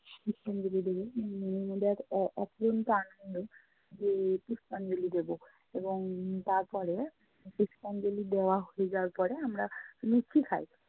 পুষ্পাঞ্জলি দেবো উম আমাদের অফ~ অফুরন্ত আনন্দ যে পুষ্পাঞ্জলি দিবো। এবং তারপরে পুষ্পাঞ্জলি দেয়া হয়ে যাওয়ার পরে আমরা লুচি খাই।